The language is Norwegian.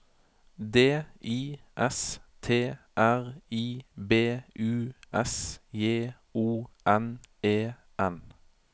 D I S T R I B U S J O N E N